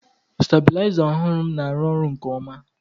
stabiliza ọhụrụ m na-arụ ọrụ nke ọma